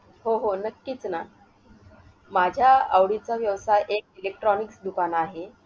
हो हो नक्कीच ना. माझ्या आवडीचा व्यवसाय एक electronics दुकान आहे.